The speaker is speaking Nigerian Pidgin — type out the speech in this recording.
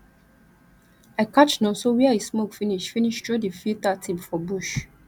i catch nonso where he smoke finish finish throw the filter tip for bush